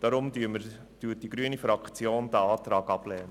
Aus diesem Grund lehnt die grüne Fraktion den Antrag ab.